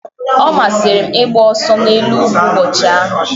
Ọ masịrị m ịgba ọsọ n'elu ugwu ụbọchị ahụ.